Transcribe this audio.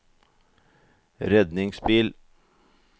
redningsbil